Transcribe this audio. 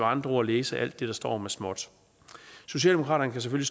andre ord læse alt det der står med småt socialdemokratiet